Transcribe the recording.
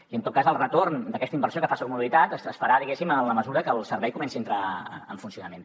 i en tot cas el retorn d’aquesta inversió que fa soc mobilitat es farà diguéssim en la mesura que el servei comenci a entrar en funcionament